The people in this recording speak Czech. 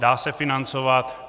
Dá se financovat.